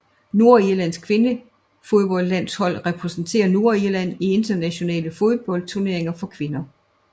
Nordirlands kvindefodboldlandshold repræsenterer Nordirland i internationale fodboldturneringer for kvinder